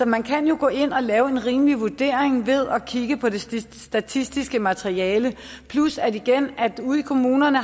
man kan jo gå ind og lave en rimelig vurdering ved at kigge på det statistiske materiale plus at de ude i kommunerne